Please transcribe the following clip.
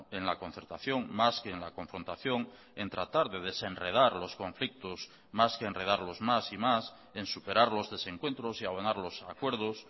en la concertación más que en la confrontación en tratar de desenredar los conflictos más que enredarlos más y más en superar los desencuentros y abonar los acuerdos